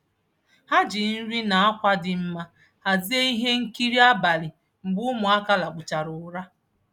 Ha ji nri na akwa dị mma hazie ihe nkiri abalị mgbe ụmụaka lakpuchara ụra.